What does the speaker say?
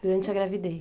durante a gravidez.